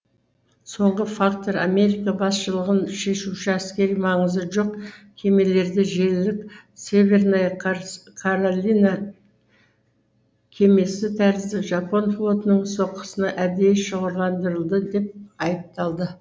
соңғы фактор америка басшылығын шешуші әскери маңызы жоқ кемелерді желілік северная каролина кемесі тәрізді жапон флотының соққысына әдейі шоғырландырылды деп айыпталды